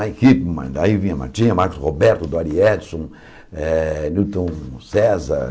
Daí vinha Martinha, Marcos Roberto, Dori Edson, eh Newton César.